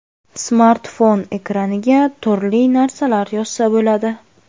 Smartfon ekraniga turli narsalar yozsa bo‘ladi.